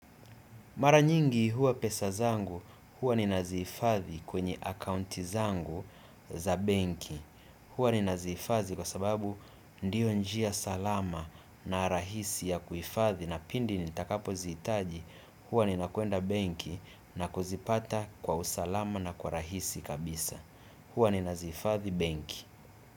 Mara nyingi huwa pesa zangu huwa nina zihifadhi kwenye akaunti zangu za benki. Huwa nina zihifadhi kwa sababu ndiyo njia salama na rahisi ya kuhifadhi na pindi nitakapo zihitaji huwa nina kuenda benki na kuzipata kwa usalama na kwa rahisi kabisa. Huwa nina zifathi banki.